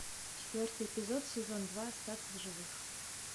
четвертый эпизод сезон два остаться в живых